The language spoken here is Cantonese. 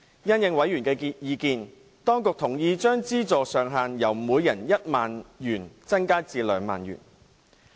因應委員的意見，當局同意將資助上限由每人1萬元增加至2萬元。